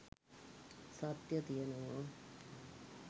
සත්‍යය තියනවා.